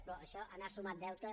però això ha anat sumant deute